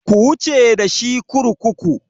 Ku wuce da shi kurkuku!